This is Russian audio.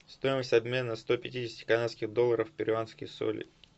стоимость обмена сто пятидесяти канадских долларов в перуанские соли